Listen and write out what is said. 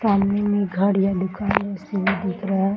सामने मे घर या दुकान जैसा दिख रहा है ।